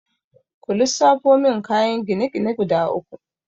Ku lissafo min kayan gine-gine guda uku?